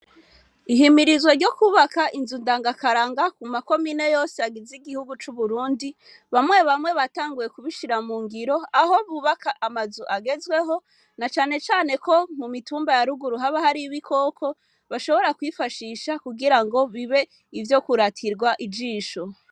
Ihimirizwa ryo kwubaka inzu ndangakaranga mu ma komine yose agize igihugu c'Uburundi, bamwe bamwe batanguye kubishira mu ngiro, aho bubaka amazu agezweho, na cane cane ko mu mitumba ya ruguru haba hari ibikoko bashobora kwifashisha kugira ngo bibe ivyo kuratirwa ijisho.